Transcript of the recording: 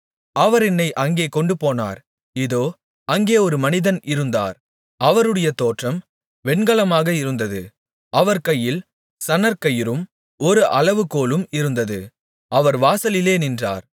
அவர் என்னை அங்கே கொண்டுபோனார் இதோ அங்கே ஒரு மனிதன் இருந்தார் அவருடைய தோற்றம் வெண்கலமாக இருந்தது அவர் கையில் சணற்கயிறும் ஒரு அளவுகோலும் இருந்தது அவர் வாசலிலே நின்றார்